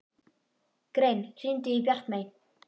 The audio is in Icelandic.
Grein, hringdu í Bjartmey.